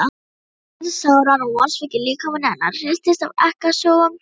Hún grét sáran og vonsvikinn líkami hennar hristist af ekkasogum.